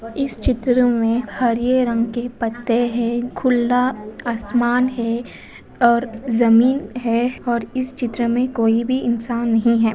इस चित्र में हरे रंग के पत्ते हैं। खुल्ला आसमान है और ज़मीन है और इस चित्र मैं कोई भी इंसान नहीं है।